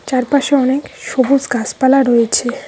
চারপাশে অনেক সবুস গাসপালা রয়েছে।